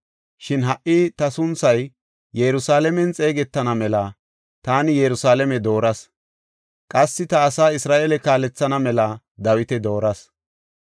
Shin ha77i ta sunthay Yerusalaamen xeegetana mela taani Yerusalaame dooras; qassi ta asaa Isra7eele kaalethana mela Dawita dooras.’